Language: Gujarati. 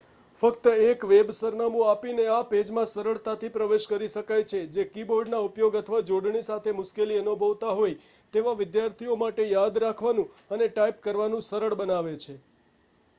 ફક્ત એક વેબ સરનામું આપીને આ પેજમાં સરળતાથી પ્રવેશકરી શકાય છે જે કીબોર્ડના ઉપયોગ અથવા જોડણી સાથે મુશ્કેલી અનુભવતા હોય તેવા વિદ્યાર્થીઓ માટે યાદ રાખવાનું અને ટાઇપ કરવાનું સરળ બનાવે છે